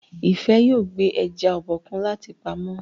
Ifẹ yóò gbé eja Obokun láti pàmò.